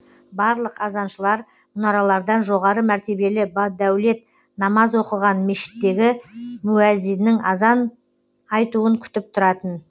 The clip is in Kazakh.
барлық азаншылар мұнаралардан жоғары мәртебелі бадәулет намаз оқыған мешіттегі муәззиннің азан айтуын күтіп тұратын